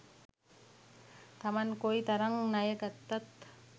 තමන් කොයි තරං ණය ගත්තත්